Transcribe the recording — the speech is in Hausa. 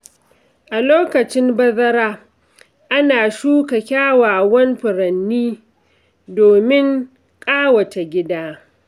A lokacin bazara, ana shuka kyawawan furanni domin ƙawata gida.